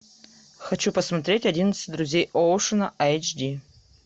хочу посмотреть одиннадцать друзей оушена эйч ди